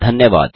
धन्यवाद